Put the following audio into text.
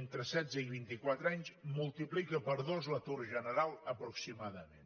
entre setze i vint i quatre anys multiplica per dos l’atur general aproximadament